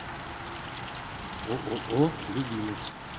ооо любимец